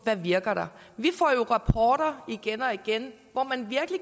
der virker vi får rapporter igen og igen og man